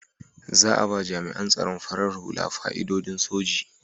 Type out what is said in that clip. Za a ba jami'an tsaron farar hula fa'idodin soji.